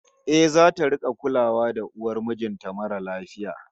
Eh, zata rik'a kulawa da uwar mijin ta mara lafiya